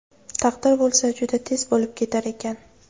Taqdir bo‘lsa, juda tez bo‘lib ketar ekan.